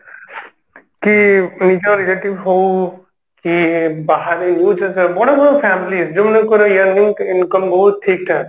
କି ନିଜ relative ହଉ କି ବାହାରେ ବଡ ବଡ families ଯୋଉମାନଙ୍କର yearly income ବହୁତ୍